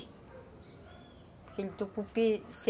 Porque o tucupi você...